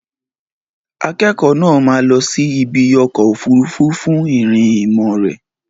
Akẹ́kọ̀ọ́ náà máa lọ sí ibi ọkọ̀ òfuurufú fún ìrìn ìmọ̀ rẹ̀.